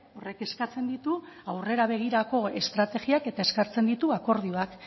horrek eskatzen ditu aurrera begirako estrategiak eta eskatzen ditu akordioak